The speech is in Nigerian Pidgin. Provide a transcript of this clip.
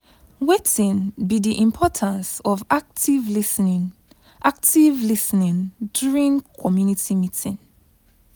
wetin be di importance of active lis ten ing active lis ten ing during community meeting?